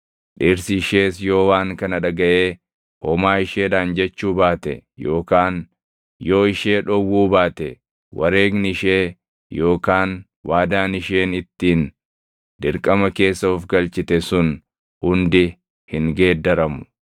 dhirsi ishees yoo waan kana dhagaʼee homaa isheedhaan jechuu baate yookaan yoo ishee dhowwuu baate wareegni ishee yookaan waadaan isheen ittiin dirqama keessa of galchite sun hundi hin geeddaramu.